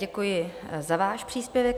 Děkuji za váš příspěvek.